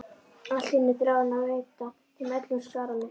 Allt í einu þráði hann að veita þeim öllum sakramentið.